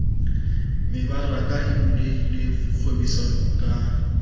mebaraka e bulehileng kgwebisano ka